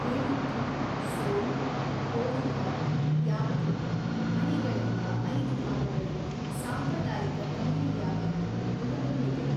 ಏಲುಥ್ಥು, ಸೋಲ್, ಪೋರೂಲ, ಯಾಪ್ಪು, ಅಣಿಗಳೆಂಬ ಐದು ಭಾಗಗಳನ್ನು ಸಾಂಪ್ರದಾಯಿಕ ತಮಿಳು ವ್ಯಾಕರಣವು ಒಳಗೊಂಡಿದೆ.